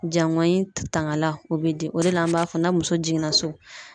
Jangɔyi tangala ,o bɛ di , o de la ,an b'a fɔ na muso jiginna so